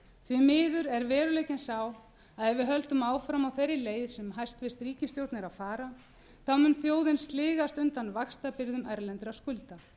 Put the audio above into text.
því miður er veruleikinn sá að ef við höldum áfram á þeirri leið sem hæstvirt ríkisstjórn er að fara mun þjóðin sligast undan vaxtabyrðum erlendra skulda